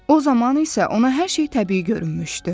O zaman isə ona hər şey təbii görünmüşdü.